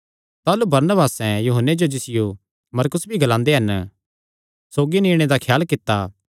ताह़लू बरनबासें यूहन्ने जो जिसियो मरकुस भी ग्लांदे हन सौगी नीणे दा ख्याल कित्ता